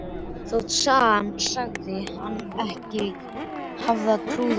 Þótt sagan segði hana ekki hafa trúað á neitt.